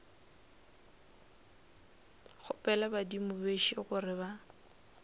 kgopela badimo bešo gore ba